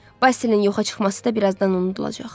Basil-in yoxa çıxması da birazdan unudulacaq.